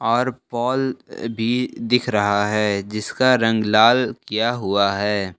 और पॉल भी दिख रहा है जिसका रंग लाल किया हुआ है।